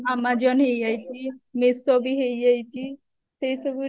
amazon ହେଇଯାଇଛି meesho ବି ହେଇଯାଇଛି ସେଇ ସବୁ